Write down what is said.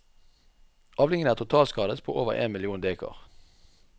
Avlingen er totalskadet på over én million dekar.